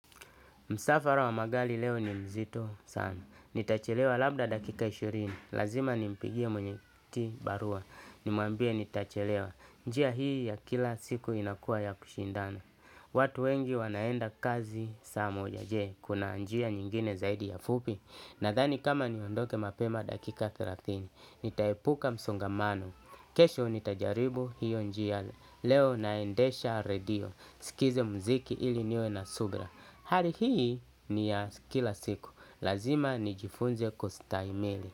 Msafara wa magari leo ni mzito sana. Nitachelewa labda dakika ishirini. Lazima ni mpigie mwenyekiti barua. Nimwambie nitachelewa. Njia hii ya kila siku inakua ya kushindana. Watu wengi wanaenda kazi saa moja jee. Kuna njia nyingine zaidi ya fupi. Nadhani kama niondoke mapema dakika thelathini. Nitaepuka msonga mano. Kesho nitajaribu hiyo njia leo naendesha radio. Nisikize mziki ili niwe na subra. Hali hii ni ya kila siku, lazima ni jifunze kustahimili.